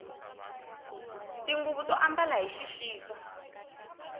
tinguvu to ambala hi xixaka